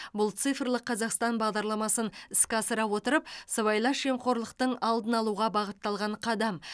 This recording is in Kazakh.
бұл цифрлық қазақстан бағдарламасын іске асыра отырып сыбайлас жемқорлықтың алдын алуға бағытталған қадам